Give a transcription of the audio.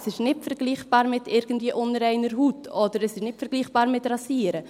Es ist nicht vergleichbar mit unreiner Haut beispielsweise, oder es ist nicht vergleichbar mit dem Rasieren.